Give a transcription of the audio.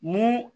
Mun